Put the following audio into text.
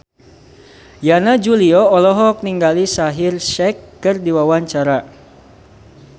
Yana Julio olohok ningali Shaheer Sheikh keur diwawancara